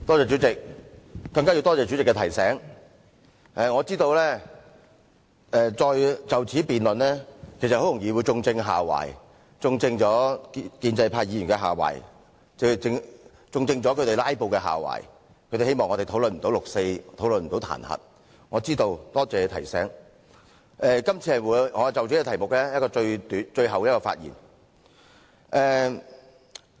主席，多謝主席提醒，我知道就此再辯論下去，很容易就會正中建制派議員"拉布"的下懷，他們想令我們沒有時間討論有關"六四"和彈劾的議案，我是知道的，亦多謝提醒，所以今次會是我就這項修正案最後一次發言。